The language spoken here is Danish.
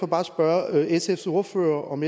bare spørge sfs ordfører om